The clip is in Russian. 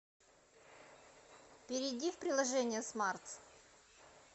перейди в приложение смартс